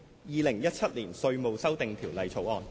《2017年稅務條例草案》。